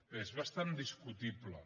bé és bastant discutible